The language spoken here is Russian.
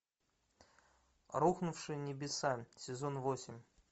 рухнувшие небеса сезон восемь